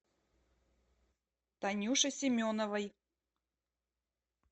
танюше семеновой